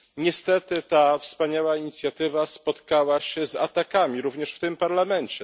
Niestety ta wspaniała inicjatywa spotkała się z atakami również w tym parlamencie.